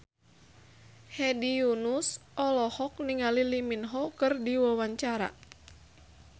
Hedi Yunus olohok ningali Lee Min Ho keur diwawancara